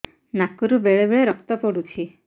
ନାକରୁ ବେଳେ ବେଳେ ରକ୍ତ ପଡୁଛି